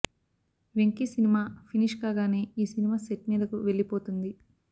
వెంకీ సినిమా ఫినిష్ కాగానే ఈ సినిమా సెట్ మీదకు వెళ్లిపోతుంది